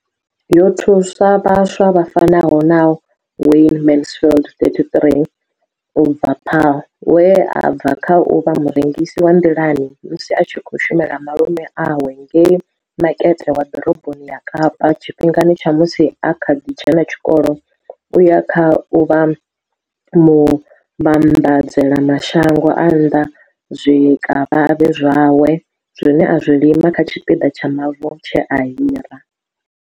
Yo thusa vhaswa vha fanaho na Wayne Mansfield, 33, u bva Paarl, we a bva kha u vha murengisi wa nḓilani musi a tshi khou shumela malume awe ngei Makete wa Ḓoroboni ya Kapa tshifhingani tsha musi a kha ḓi dzhena tshikolo u ya kha u vha muvhambadzela mashango a nnḓa zwikavhavhe zwawe zwine a zwi lima kha tshipiḓa tsha mavu tshe a hira.